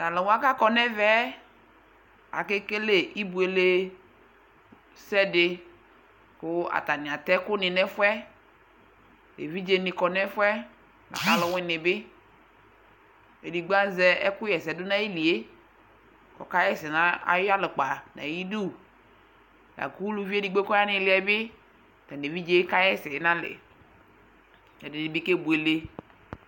to alo wa ko akɔ no ɛvɛ ake kele ibuele sɛ di ko atani atɛ ɛko ni no ɛfoɛ evidze ni kɔ no ɛfoɛ lako alowini bi edigbo azɛ ɛko ɣa ɛsɛ do no ayili yɛ ko ɔka ɣa ɛsɛ no ayi yalɛkpa no ayidu lako uluvi edigbo ko ɔya no iliɛ bi ɔtano evidze ka ɣa ɛsɛ no alɛ ɛdini bi ke buele